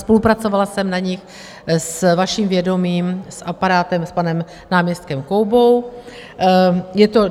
Spolupracovala jsem na nich s vaším vědomím s aparátem, s panem náměstkem Koubou.